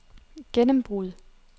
gennembrud